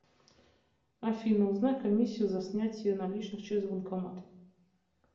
афина узнай комиссию за снятие наличных через банкомат